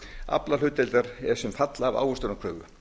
aflahlutdeildar er sem fall af ávöxtunarkröfu